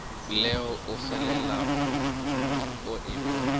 leo o felago o ekwa